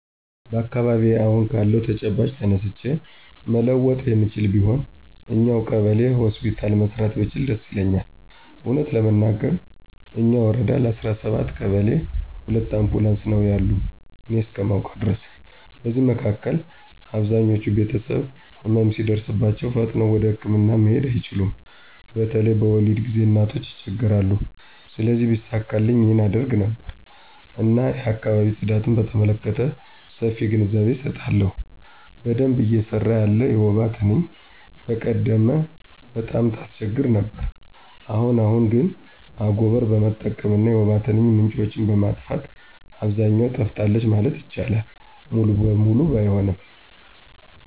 በአካባቢየ አሁን ካለው ተጨባጭ ተነስቼ መለወጥ የምችለው ቢሆን እኛው ቀበሌ ሆስፒታል መስራት ብችል ደስ ይለኛል። እውነት ለመናገር እኛ ወረዳ ለ17 ቀበሌ ሁለት አምቡላንስ ነው ያሉ እኔ እስከማውቀው ድረስ። በዚህ መካከል አብዛኞች ቤተሰቦች ህመም ሲደርስባቸው ፈጥነው ወደህክምና መሄድ አይችሉም በተለይ በወሊድ ጊዜ እናቶች ይቸገራሉ። ስለዚህ ቢሳካልኝ ይህን አደርግ ነበር። እና የአካባቢ ጽዳትን በተመለከተ ሰፊ ግንዛቤ አሰጣለሁ። በደንብ እየሰራ ያለ የወባ ትንኝ በቀደም ቀጣም ታስቸግር ነበር አሁን አሁን ግን አጎቀር በመጠቀም እና የወባ ትንኝ ምንጮችን በማጥፋት አብዛኛው ጠፍታለች ማለት ይቻላል ሙሉ በሙሉ ባይሆንም።